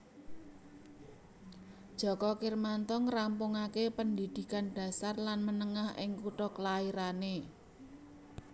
Djoko Kirmanto ngrampungaké pendhidhikan dasar lan menengah ing kutha klairané